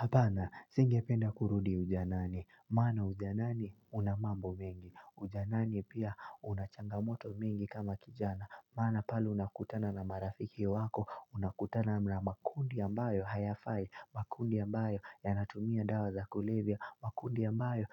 Hapana singe penda kurudi ujanani, maana ujanani unamambo mingi, ujanani pia unachangamoto mingi kama kijana, maana pale unakutana na marafiki wako, unakutana na makundi ambayo hayafai, makundi ambayo yanatumia dawa za kulevya, makundi ambayo